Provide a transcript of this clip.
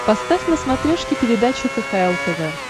поставь на смотрешке передачу кхл тв